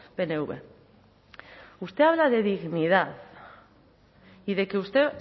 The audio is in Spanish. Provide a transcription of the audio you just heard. pnv usted habla de dignidad y de que usted